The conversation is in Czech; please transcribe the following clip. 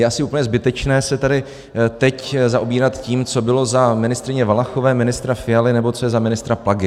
Je asi úplně zbytečné se tady teď zaobírat tím, co bylo za ministryně Valachové, ministra Fialy nebo co je za ministra Plagy.